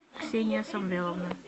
ксения самвеловна